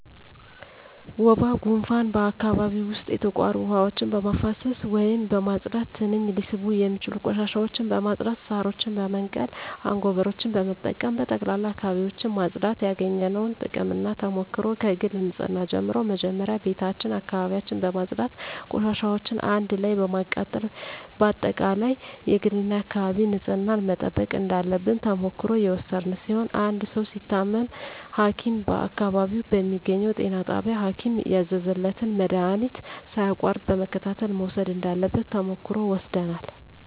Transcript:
ወባ ጉንፋን በአካባቢው ዉስጥ የተቋሩ ዉሀዎችን በማፋሰስ ወይም በማፅዳት ትንኝ ሊስቡ የሚችሉ ቆሻሻዎችን በማፅዳት ሳሮችን በመንቀል አጎበሮችን በመጠቀም በጠቅላላ አካባቢዎችን ማፅዳት ያገኘነዉ ጥቅምና ተሞክሮ ከግል ንፅህና ጀምሮ መጀመሪያ ቤታችን አካባቢያችን በማፅዳት ቆሻሻዎችን አንድ ላይ በማቃጠል በአጠቃላይ የግልና የአካባቢ ንፅህናን መጠበቅ እንዳለብን ተሞክሮ የወሰድን ሲሆን አንድ ሰዉ ሲታመም ሀኪም በአካባቢው በሚገኘዉ ጤና ጣቢያ ሀኪም ያዘዘለትን መድሀኒት ሳያቋርጥ በመከታተል መዉሰድ እንዳለበት ተሞክሮ ወስደናል